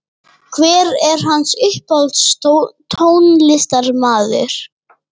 hver er hans uppáhalds tónlistarmaður?